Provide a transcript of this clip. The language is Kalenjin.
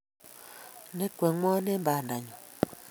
Ne 'kweng'wa eng' bandanyu.